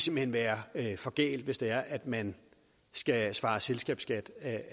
vil være for galt hvis det er at man skal svare selskabsskat af